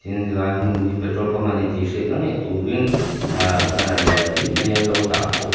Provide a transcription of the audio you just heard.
helai hun hi petrol pump ani tih hriatna ngei turin ehhh banner lianpui mai an lo dah bawk a.